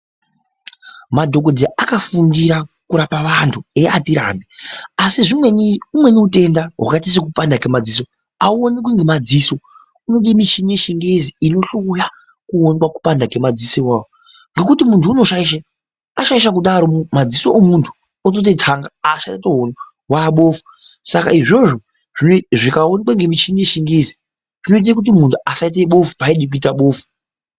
Madhokodhera akafundira kurapa vantu eiapirani asi umweni utenda hwakaita sekupanda kwemadziso auonekwi ngemadziso kune michini yechingezi inohloya kuona kupanda kwemadziso awawo ngekuti munthu unoshaishe ashashaisha kudaro madziso omunthu otoite tsanga otoite bofu achatooni saka izvozvo zvikaonekwa ngemichini yechingezi zvinoite kuti munthu asite bofu paaide kuita bofu.